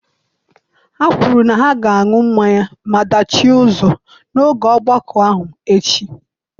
Ha kwuru na ha ga-aṅụ mmanya maa dachie ụzọ n’oge ogbako ahụ echi.